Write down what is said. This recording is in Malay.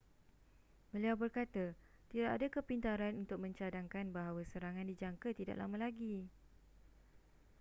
beliau berkata tidak ada kepintaran untuk mencadangkan bahawa serangan dijangka tidak lama lagi